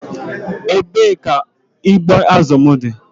Ebee ka ụgbụ azụ m dị?